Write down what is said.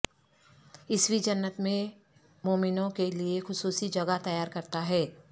یسوع جنت میں مومنوں کے لئے خصوصی جگہ تیار کرتا ہے